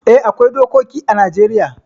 Eh, akwai dokoki ã Najeriya.